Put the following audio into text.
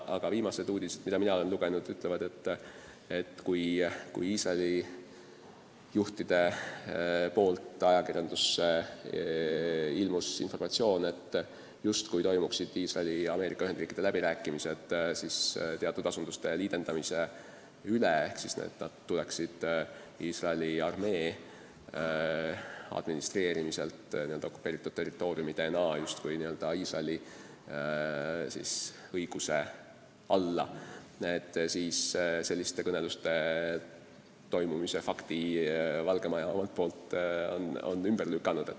Aga viimased uudised, mida mina olen lugenud, ütlevad, et kui Iisraeli juhid edastasid ajakirjandusele informatsiooni, et toimuvad Iisraeli ja Ameerika Ühendriikide läbirääkimised teatud asunduste liidendamise üle ehk siis selle üle, et need tuleksid Iisraeli armee administreerimise alt n-ö okupeeritud territooriumidena justkui Iisraeli õiguse alla, siis selliste kõneluste toimumise fakti on Valge Maja ümber lükanud.